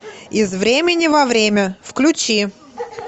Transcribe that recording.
из времени во время включи